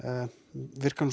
virkar